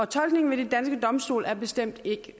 tolkningen ved de danske domstole er bestemt ikke